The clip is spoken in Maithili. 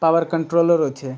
पावर कंट्रोलर होई छे।